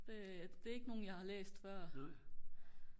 det det er ikke nogen jeg har læst før